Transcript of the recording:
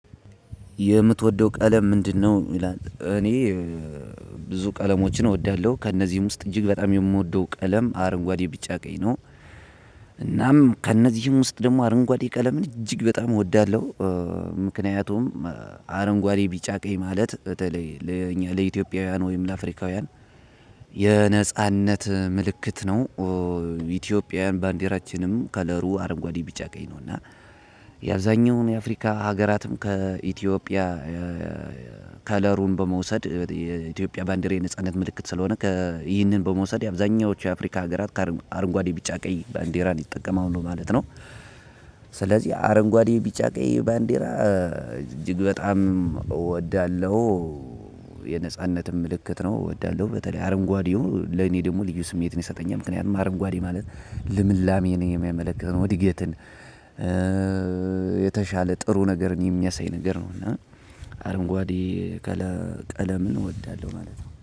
የምትወደው ቀለም ምንድነው ይላል? እኔ ብዙ ቀለሞችን እወዳለሁ ከእነዚህም ውስጥ እጅግ በጣም የምወደው ቀለም አረንጓዴ፣ ቢጫ፣ ቀኝ ነው እናም ከእነዚህም ውስጥ ደግሞ አረንጓዴ ቀለምን እጅግ በጣም እወዳለሁ። ምክንያቱም አረንጓዴ ቢጫ ቀኝ ማለት በተለይ ለእኛ ለኢትዮጵያውያን ወይም ለአፍሪካውያን የነጻነት ምልክት ነው። ኢትዮጵያውያን ባንዲራችንም ከለሩ አረንጓዴ ቢጫ ቀኝ ነው እና የአብዛኛውን የአፍሪካ ሀገራትም ከኢትዮጵያ ከለሩን በመውሰድ የኢትዮጵያ ባንዲሬ ነጻነት ምልክት ስለሆነ ይህንን በመውሰድ አብዛኛዎቹ የአፍሪካ ሀገራት አረንጓዴ ቢጫ ቀይ ባንዴራን ይጠቀማሉ ማለት ነው ስለዚህ አረንጓዴ ቢጫ ቀይ ባንዲራ እጅግ በጣም እወዳለሁ። የነጻነትም ምልክት ነው እወዳለሁ በተለይ አረንጓዴው ለኔ ደግሞ ልዩ ስሜት ነው ይሰጠኛል ምክንያቱም አረንጓዴ ማለት ልምላሜ ነው የሚያመለክተው እድገትን የተሻለ ጥሩ ነገር የሚያሳይ ነገር ነው እና አረንጓዴ ቀለምን እወዳለሁ ማለት ነው።